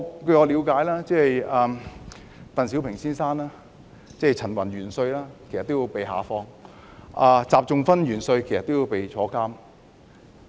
據我了解，當時鄧小平先生、陳雲元帥也被下放，習仲勳元帥也被抓進監牢。